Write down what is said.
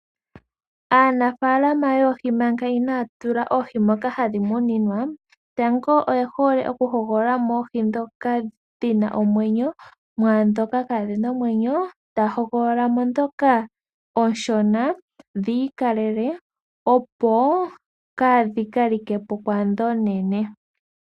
Aanafaalama yoohi manga inaaya tula oohi dhawo moka hadhi muninwa, tango oye hole okuhogolola mo oohi ndhoka dhi na omwenyo, mwaandhoka kaadhi na omwenyo. Ta hogolola mo ndhoka oonshona, dhi ikalele, opo kaadhi ka like po kwaandhi oonene.